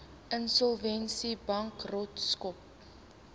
insolvensiebankrotskap